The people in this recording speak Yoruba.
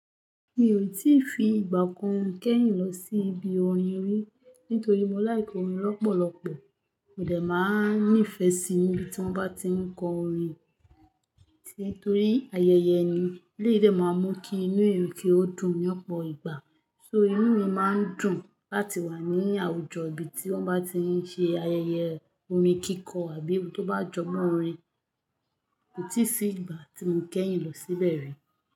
Mi ò tí ì fi ìgbà kan kẹ́yìn lọ sí ibi orin rí nítorí mo like orin lọ́pọ̀lọ́pọ̀. Mo dẹ̀ má a nífẹ si níbi tí wọ́n bá tí ń kọ orin, nítorí ayẹyẹ ni. Eleyii de máa mú kí inú eeyan kí ó dùn ní ọ̀pọ̀ ìgbà. So inú mi má ń dùn láti wà ní àwùjọ ibi tí wọ́n bá ti ń ṣe ayẹyẹ orin kíkọ àbí ibi tó bá jọmo orin. Ko tí ì sí ìgbà tí mo kẹ́yìn lọ síbẹ̀ rí.